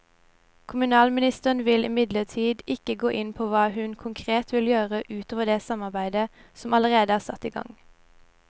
Kommunalministeren vil imidlertid ikke gå inn på hva hun konkret vil gjøre ut over det arbeidet som allerede er satt i gang.